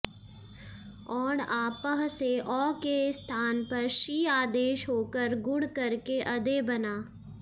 औङ आपः से औ के स्थान पर शी आदेश होकर गुण करके अदे बना